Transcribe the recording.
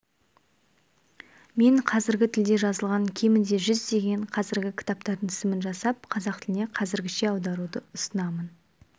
мен қазіргі тілде жазылған кемінде жүздеген қазіргі кітаптардың тізімін жасап қазақ тіліне қазіргіше аударуды ұсынамын